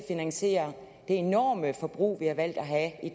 finansiere det enorme forbrug vi har valgt at have i